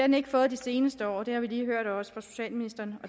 den ikke fået de seneste år det har vi også lige hørt fra socialministeren